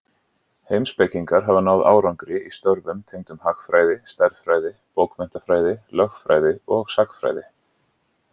Heimspekingar hafa náð árangri í störfum tengdum hagfræði, stærðfræði, bókmenntafræði, lögfræði og sagnfræði.